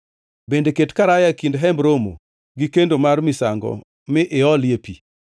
bende ket karaya e kind Hemb Romo gi kendo mar misango mi iolie pi.